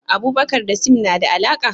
Abubakar da Sim na da alaka?